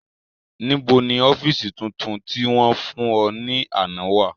Nibo ni ọfiisi tuntun ti wọn fun ọ ni ana wa?